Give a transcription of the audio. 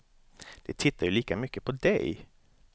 De tittar ju lika mycket på dig.